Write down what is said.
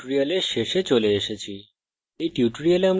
আমরা we tutorial শেষে চলে এসেছি